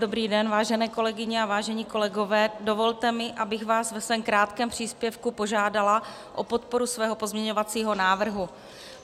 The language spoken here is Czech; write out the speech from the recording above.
Dobrý den, vážené kolegyně a vážení kolegové, dovolte mi, abych vás ve svém krátkém příspěvku požádala o podporu svého pozměňovacího návrhu.